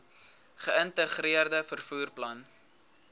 geïntegreerde vervoer plan